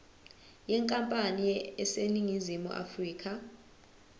yenkampani eseningizimu afrika